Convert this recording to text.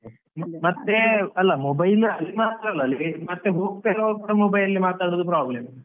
ಮತ್ತೆ ಅಲ್ಲ mobile ಅಲ್ಲಿ ಮಾತ್ರ ಅಲ್ಲ ಮತ್ತೆ ಹೋಗ್ತ ಹೋಗ್ತ mobile ಲಿ ಮಾತಾಡೋದು problem .